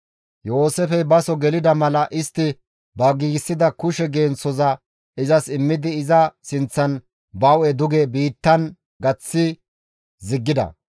Yooseefey baso gelida mala istti ba giigsida kushe genththoza izas immidi iza sinththan ba hu7e duge biittan gaththi ziggida.